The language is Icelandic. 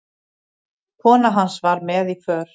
Kona hans var með í för.